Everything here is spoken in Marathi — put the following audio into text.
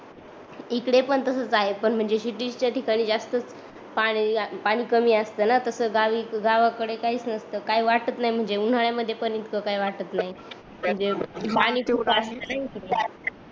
इकड पण तसाच आहे पण म्हणजे सिटीच्या ठिकाणी जास्तच पाणी लागत पाणी कमी असते न गावाकडे काहीच नसत काही वाटत नाही म्हणजे उन्हाड्यामध्ये पण इतक काही वाटत नाही म्हणजे